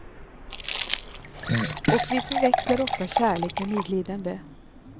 Och vi förväxlar ofta kärlek med medlidande.